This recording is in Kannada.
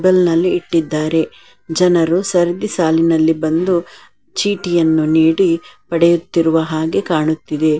ಬೆಲ್ {bell ನಲ್ಲಿ ಇಟ್ಟಿದ್ದಾರೆ. ಜನರು ಸರ್ದಿ ಸಾಲಿನಲ್ಲಿ ಬಂದು. ಚೀಟಿಯನ್ನು ನೀಡಿ. ಪಡೆಯುತ್ತಿರುವ ಹಾಗೆ ಕಾಣುತ್ತಿದೆ. }